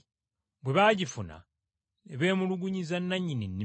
Bwe baagifuna ne beemulugunyiza nannyini nnimiro